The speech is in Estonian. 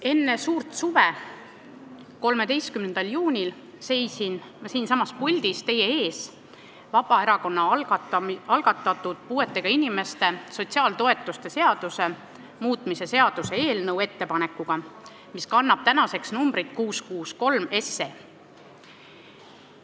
Enne suurt suve, 13. juunil seisin ma siinsamas puldis teie ees, andes üle Vabaerakonna algatatud puuetega inimeste sotsiaaltoetuste seaduse muutmise seaduse eelnõu, mis kannab tänaseks numbrit 663.